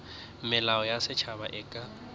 melao ya setšhaba e ka